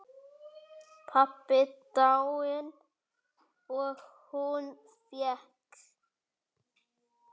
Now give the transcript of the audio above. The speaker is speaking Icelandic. Pabbi dáinn og hún veik.